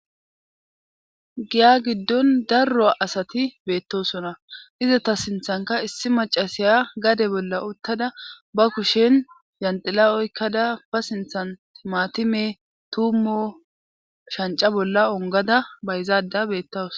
Giya giddon darro asati beettosona iza ta sinthanka issi macasiya gade bolla uttada ba kushen yandila oykkada ba sinthan timatime tummo shanca bolla ongada bayzaada beettawus.